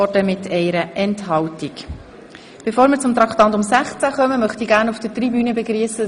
Bevor wir mit der Beratung von Traktandum 16 beginnen, möchte ich die Gäste auf der Tribüne begrüssen.